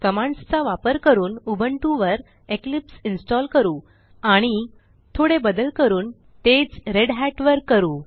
कमांडसचा वापर करून उबुंटू वर इक्लिप्स इन्स्टॉल करू आणि थोडे बदल करून तेच रेढत वर करू